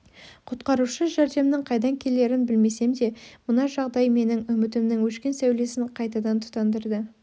құтқарушы жәрдемнің қайдан келерін білмесем де мына жағдай менің үмітімнің өшкен сәулесін қайтадан тұтандырды